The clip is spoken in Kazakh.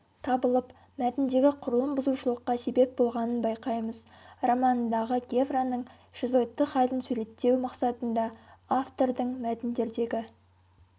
табылып мәтіндегі құрылым бұзушылыққа себеп болғанын байқаймыз романындағы гевраның шизоидты халін суреттеу мақсатында автордың мәтіндердегі